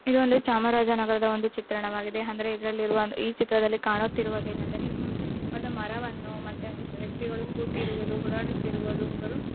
ಇದೊಂದು ಚಾಮರಾಜನಗರದ ಒಂದು ಚಿತ್ರಣವಾಗಿದೆ ಅಂದರೆ ಇದರಲ್ಲಿ ಇರುವ ಈ ಚಿತ್ರದಲ್ಲಿ ಕಾಣುತ್ತಿರುವುದು ಏನೆಂದರೆ ಒಂದು ಮರವನ್ನು ಮತ್ತೆ ವ್ಯಕ್ತಿಗಳು ಕೂತಿರುವುದು ಓಡಾಡುತ್ತಿರುವುದು ಒಬ್ಬರು--